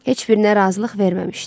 Heç birinə razılıq verməmişdi.